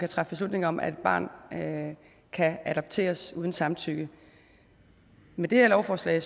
træffe beslutning om at et barn kan adopteres uden samtykke med det her lovforslag